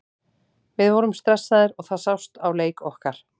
Við vorum stressaðir og það sást á leik okkar.